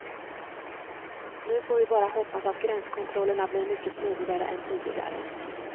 Nu får vi bara hoppas att gränskontrollerna blir mycket smidigare än tidigare.